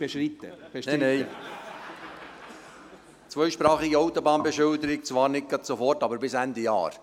Nein, nein! Zweisprachige Autobahnbeschilderung, zwar nicht gerade sofort, aber bis Ende Jahr.